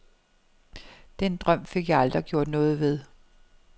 Den drøm fik jeg aldrig gjort noget ved.